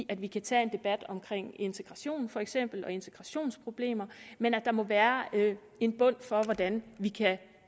at vi kan tage en debat om integration for eksempel og integrationsproblemer men at der må være en bund for hvordan vi kan